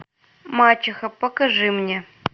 мачеха покажи мне